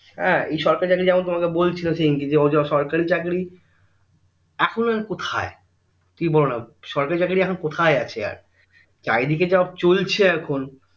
এর এই সরকারি চাকরী যেমন তোমাকে বলছিল সেদিন সরকারি চাকরী এখন আর কোথায় তুমি বলোনা সরকারি চাকরী এখন কোথায় আছে আর চারিদিকে যা চলছে এখন